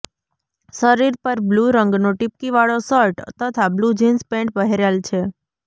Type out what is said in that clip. શરીર પર બ્લૂ રંગનો ટીપકી વાળો શર્ટ તથા બ્લુ જીન્સ પેન્ટ પહેરેલ છે